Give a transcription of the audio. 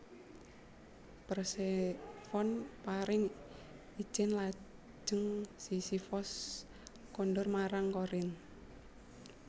Persefone paring ijin lajeng Sisifos kondur marang Korinth